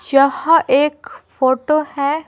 यह एक फोटो है।